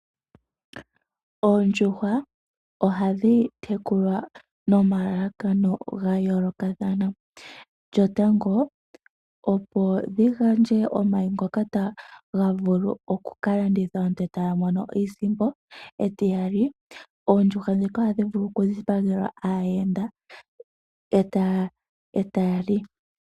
Oondjuhwa ohadhi tekulwa nomalala kano ga yoolokathana . Lyo tango opo dhi gandje omayi ngoka taga vulu okukalandithwa aantu taya mono iisimpo . Etiyali oondjuhwa ndhika oha dhi vulu oku dhi pagelwa aayenda eta yali.